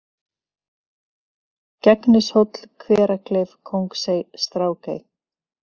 Gegnishóll, Hverakleif, Kóngsey, Strákey